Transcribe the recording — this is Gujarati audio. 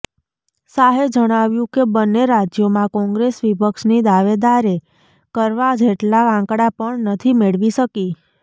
શાહે જણાવ્યું કે બંને રાજ્યોમાં કોંગ્રેસ વિપક્ષની દાવેદારે કરવા જેટલા આંકડા પણ નથી મેળવી શકી